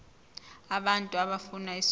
abantu abafuna isondlo